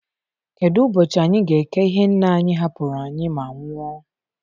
Kedu ubochi anyị ga-eke ihe nna anyị hapụrụ anyị maa nwụọ?